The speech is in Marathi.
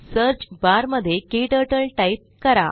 सर्च बार मध्ये क्टर्टल टाइप करा